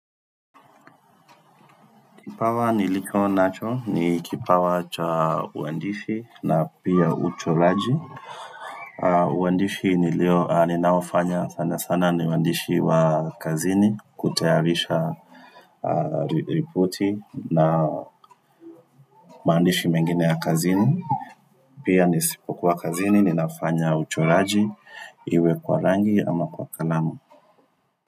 Kipawa nilicho nacho, ni kipawa cha uandishi na pia uchoraji. Uandishi nilio, ninaofanya sana sana ni uandishi wa kazini, kutayarisha ripoti na maandishi mengine ya kazini. Pia nisipokuwa kazini, ninafanya uchoraji, iwe kwa rangi ama kwa kalamu.